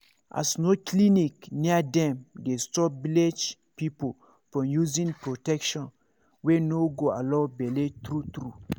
as no clinic near dem dey stop village people from using protection wey no go allow bele true true